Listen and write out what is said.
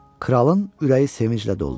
Kralın ürəyi sevinclə doldu.